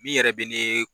Min yɛrɛ bɛ ne